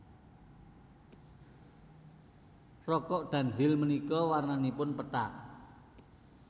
Rokok Dunhill menika wernanipun pethak